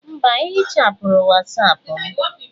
Mba, ehichapụrụ Wọsọpu m.